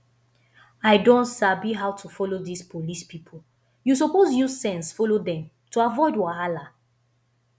i don sabi how to follow dis police people you suppose use sense follow dem to avoid wahala